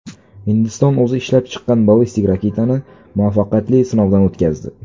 Hindiston o‘zi ishlab chiqqan ballistik raketani muvaffaqiyatli sinovdan o‘tkazdi.